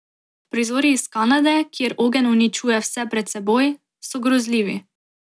Prizori iz Kanade, kjer ogenj uničuje vse pred seboj, so grozljivi.